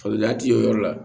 Faliya ti kɛ o yɔrɔ la